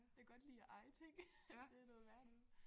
Jeg godt lide at eje ting det noget værre noget